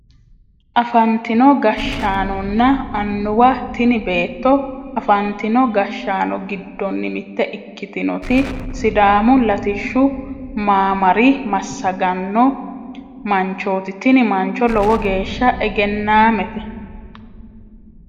Afantino gashshaanonna annuwa tini beetto afantino gashshaano giddonni mitte ikkitinoti sidaamu latishshu maamara massagganno manchoti tini mancho lowo geeshsha egennaamete